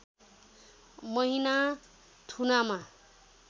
महिना थुनामा